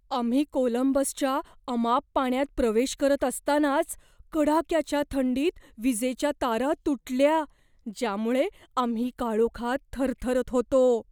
आम्ही कोलंबसच्या अमाप पाण्यात प्रवेश करत असतानाच कडाक्याच्या थंडीत विजेच्या तारा तुटल्या, ज्यामुळे आम्ही काळोखात थरथरत होतो.